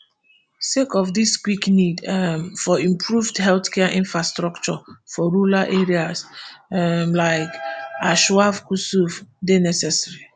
sake of dis quick need um for improved healthcare infrastructure for rural areas um like anshav kusuv dey necessary